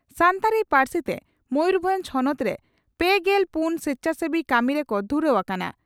ᱥᱟᱱᱛᱟᱲᱤ ᱯᱟᱹᱨᱥᱤ ᱛᱮ ᱢᱚᱭᱩᱨᱵᱷᱚᱸᱡᱽ ᱦᱚᱱᱚᱛ ᱨᱮ ᱯᱮᱜᱮᱞ ᱯᱩᱱ ᱥᱮᱪᱷᱟᱥᱮᱵᱤ ᱠᱟᱹᱢᱤ ᱨᱮᱠᱚ ᱫᱷᱩᱨᱟᱹᱣ ᱟᱠᱟᱱᱟ ᱾